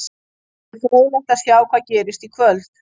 Því verður fróðlegt að sjá hvað gerist í kvöld.